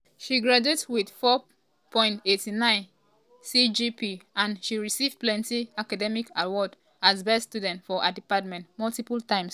she graduate wit 4.89 cgpa and she receive plenty academic awards as best student for her department multiple times.